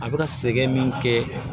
A bɛ ka sɛgɛn min kɛ